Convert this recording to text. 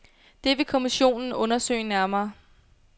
Det vil kommissionen undersøge nærmere.